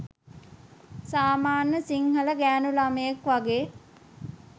සාමාන්‍ය සිංහල ගෑණු ළමයෙක් වගේ.